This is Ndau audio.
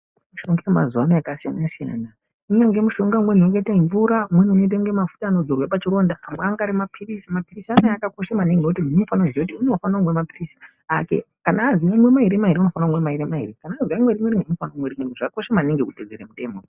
Mishonga yemazuva ano yakasiyana-siyana. Unenge mushonga umweni wakaite mvura. Umweni ungaite kunga mafuta anodzorwe pachironda. Amwe ange ari maphilisi. Maphilisi anaya akakosha maningi nekuti munhu unofanira kumwa maphirizi ake. Kana azi unomwe mairi-mairi unofane kumwe mairi-mairi, kana azi unomwe rimwe unomwe rimwe. Zvakakosha maningi kuteedzera mitemo.